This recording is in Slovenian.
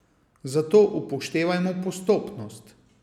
Zato upoštevajmo postopnost.